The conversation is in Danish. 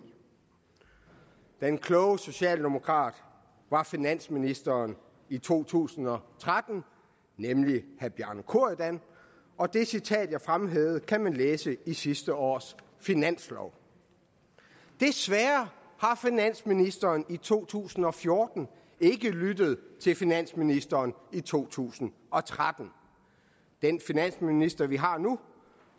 den kloge socialdemokrat var finansministeren i to tusind og tretten nemlig herre bjarne corydon og det citat jeg fremhævede kan man læse i sidste års finanslov desværre har finansministeren i to tusind og fjorten ikke lyttet til finansministeren i to tusind og tretten den finansminister vi har nu